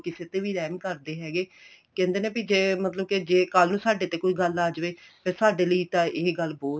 ਕਿਸੇ ਦੇ ਵੀ ਰਹਿਮ ਕਰਦੇ ਹੈਗੇ ਕਹਿੰਦੇ ਨੇ ਵੀ ਜ਼ੇ ਮਤਲਬ ਜ਼ੇ ਕੱਲ ਨੂੰ ਸਾਡੇ ਤੇ ਕੋਈ ਗੱਲ ਆ ਜ਼ੇ ਵੇ ਫ਼ੇਰ ਸਾਡੇ ਲਈ ਤਾਂ ਇਹ ਗੱਲ ਬਹੁਤ